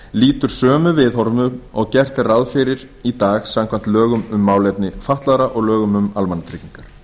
lýtur sömu viðhorfum og gert er ráð fyrir í dag samkvæmt lögum um málefni fatlaðra og lögum um almannatryggingar